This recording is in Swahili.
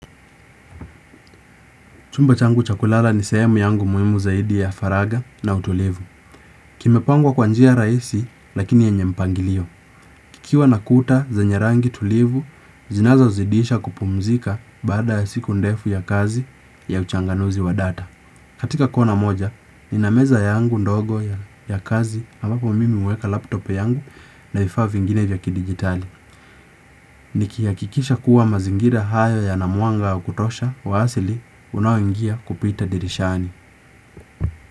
Chumba changu cha kulala ni sehemu yangu muhimu zaidi ya faraga na utulivu. Kimepangwa kwa njia raisi lakini yenye mpangilio. Kikiwa na kuta zenye rangi tulivu, zinazozidisha kupumzika baada ya siku ndefu ya kazi ya uchanganuzi wa data. Katika kona moja, nina meza yangu ndogo ya kazi ambapo mimi uweka laptop yangu na vifaa vingine vya kidigitali. Ni kiyakikisha kuwa mazingira hayo yana mwanga wa kutosha wa asili unaoingia kupita dirishani.